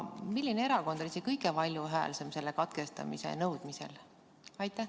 Milline erakond oli kõige valjuhäälsem selle katkestamise nõudmisel?